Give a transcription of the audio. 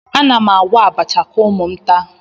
Ana m agwọ abacha ka ụmụ m taa